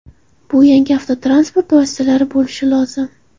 Bu yangi avtotransport vositalari bo‘lishi lozim.